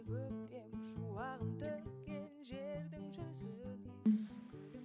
көктем шуағын төккен жердің жүзіне